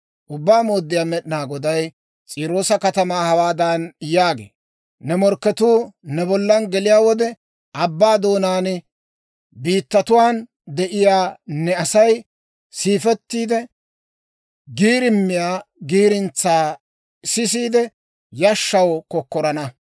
«Ubbaa Mooddiyaa Med'inaa Goday S'iiroosa katamaw hawaadan yaagee; ‹Ne morkketuu ne bollan geliyaa wode, abbaa doonaa biittatuwaan de'iyaa ne Asay siifettiid giirimmiyaa giirintsaa sisiide, yashshaw kokkorana.